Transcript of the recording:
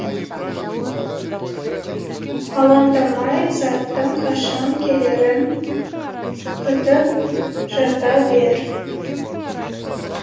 алаңдамай заттың қашан келерін күтіп жата бер